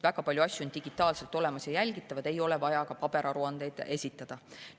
Väga paljud andmed on digitaalselt olemas ja jälgitavad, ei ole vaja ka paberaruandeid esitada.